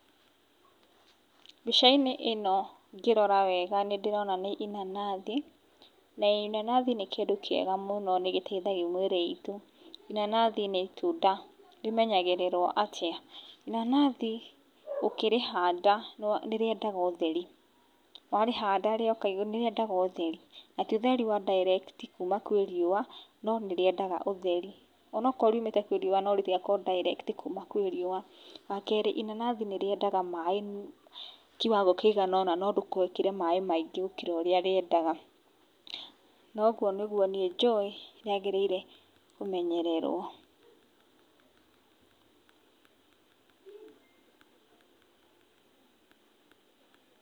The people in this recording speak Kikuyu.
Mbicainĩ ino ngĩrora wega ndĩrona nĩ inanathi, na inanathi nĩ kĩndũ kĩega mũno nĩ gĩteithagia mĩĩrĩ itũ inanathi nĩ Utunda rimenyagĩrĩrũo atĩa? Inanathi ũkĩrĩhanda nĩrĩendaga ũtheri warĩhanda rĩoka igũrũ nĩ rĩendaga ũtheri na ti ũtheri wa direct kuuma kũrĩ riua no nĩ rĩendaga ũtheri onokorũo rĩumĩte kũrĩ riua no ndĩgakorũo direct kũrĩ riũa wa kerĩ inanathi nĩ rĩendaga maaĩ kiwango kĩigana ũna no ndũgekĩre maaĩ maingĩ gũkĩra ũria rĩendaga na ũguo niguo niĩ jũĩ rĩagĩrĩire kũmenyererũo.